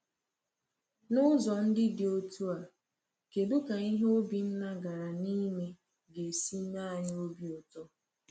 N’ụzọ ndị dị otú a, kedụ ka ihe Obinna gara n’ime ga-esi mee anyị obi ụtọ?